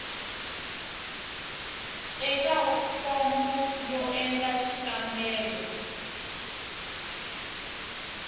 eka fomo yo endla xikombelo